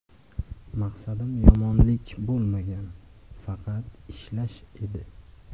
Maqsadim yomonlik bo‘lmagan, faqat ishlash edi.